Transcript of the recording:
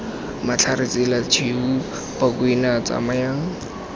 matlhare tsela tshweu bakwena tsamayang